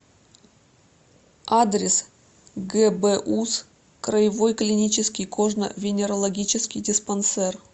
адрес гбуз краевой клинический кожно венерологический диспансер